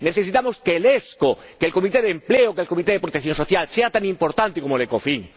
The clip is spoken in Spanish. necesitamos que el ESCO, que el Comité de Empleo, que el Comité de Protección Social sean tan importantes como el ECOFIN